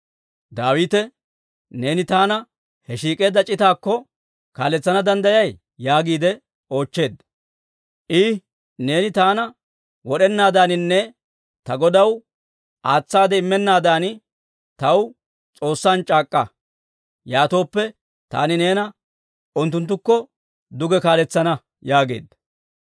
Daawite, «Neeni taana he shiik'eedda c'itaakko kaaletsana danddayay?» yaagiide oochcheedda. I, «Neeni taana wod'enaadaaninne ta godaw aatsaade immennaadan taw S'oossan c'aak'k'a; yaatooppe, taani neena unttunttukko duge kaaletsana» yaageedda.